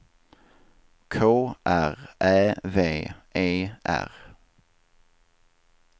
K R Ä V E R